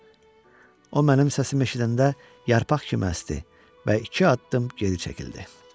O mənim səsimi eşidəndə yarpaq kimi əsdi və iki addım geri çəkildi.